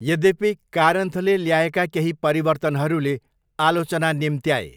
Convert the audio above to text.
यद्यपि कारन्थले ल्याएका केही परिवर्तनहरूले आलोचना निम्त्याए।